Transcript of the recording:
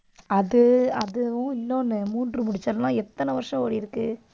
அது, அதுவும் இன்னொன்று மூன்று முடிச்சு எல்லாம் எத்தனை வருஷம் ஓடியிருக்கு.